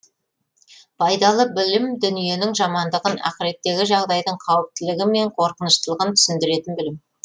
пайдалы білім дүниенің жамандығын ақыреттегі жағдайдың қауіптілігі мен қорқыныштылығын түсіндіретін білім